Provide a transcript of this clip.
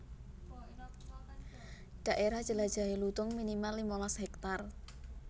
Dhaérah jelajahé lutung minimal limalas hektar